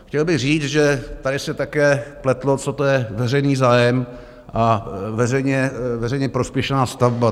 Chtěl bych říct, že tady se také pletlo, co to je veřejný zájem a veřejně prospěšná stavba.